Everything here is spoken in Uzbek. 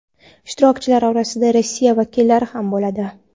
Ishtirokchilar orasida Rossiya vakillari ham bo‘ladi.